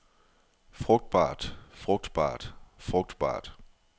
frugtbart frugtbart frugtbart